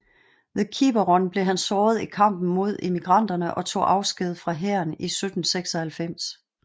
Ved Quiberon blev han såret i kampen mod emigranterne og tog afsked fra hæren 1796